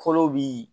Kolo bi